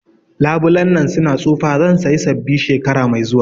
Labulen nan su na tsufa, zan saya sabbi shekara mai zuwa